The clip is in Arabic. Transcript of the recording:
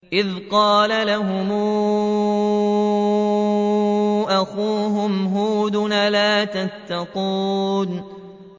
إِذْ قَالَ لَهُمْ أَخُوهُمْ هُودٌ أَلَا تَتَّقُونَ